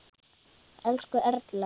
Elsku Erla.